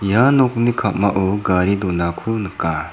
ia nokni ka·mao gari donako nika.